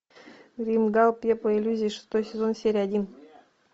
гримгал пепла и иллюзий шестой сезон серия один